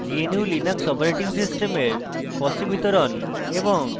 gnu/linux operating system fossee বিতরণ এবং